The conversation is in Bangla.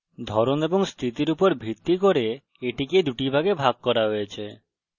ধরন এবং স্থিতির উপর ভিত্তি করে এটিকে দুটি ভাগে ভাগ করা হয়েছে: